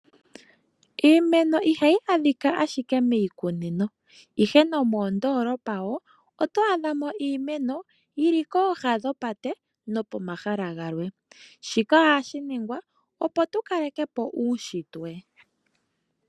Iimeno ihayi adhika ashike miikunino, ihe nomoondoolopa wo oto adha mo iimeno yili kooha dhopate nokomahala galwe shika ohashi ningwa, opo tu kale ke po uushitwe.